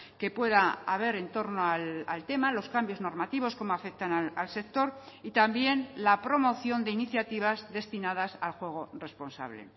que pueda haber en torno al tema los cambios normativos cómo afectan al sector y también la promoción de iniciativas destinadas al juego responsable